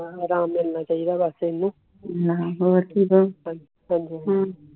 ਆਰਾਮ ਮਿਲਣਾ ਚਾਹੀਦਾ ਬਸ ਇੰਨਹੁ